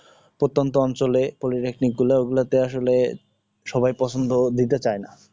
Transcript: প্রত্যন্ত অঞ্ছলে politaknic গুলা ও গুলাতে আসলে সবাই পছন্দ দিতে চায় না